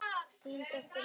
Þín dóttir, Lára Ósk.